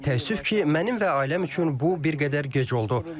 Təəssüf ki, mənim və ailəm üçün bu bir qədər gec oldu.